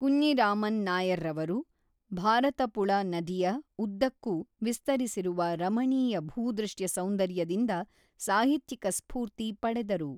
ಕುಞ್ಞಿರಾಮನ್ ನಾಯರ್‌ರವರು ಭಾರತಪುಳ ನದಿಯ ಉದ್ದಕ್ಕೂ ವಿಸ್ತರಿಸಿರುವ ರಮಣೀಯ ಭೂದೃಶ್ಯ ಸೌಂದರ್ಯದಿಂದ ಸಾಹಿತ್ಯಿಕ ಸ್ಫೂರ್ತಿ ಪಡೆದರು.